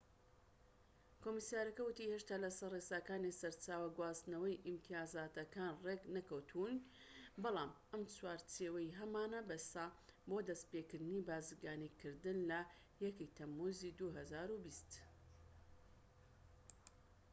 کۆمسیارەکە ووتی هێشتا لە سەر ڕێساکانی سەرچاوە و گواستنەوەی ئیمتیازاتەکان ڕێک نەکەوتووین بەڵام ئەم چوارچێوەیەی هەمانە بەسە بۆ دەستپێكردنی بازرگانیکردن لە 1ی تەموزی 2020